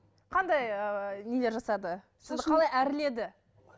қандай ыыы нелер жасады қалай әрледі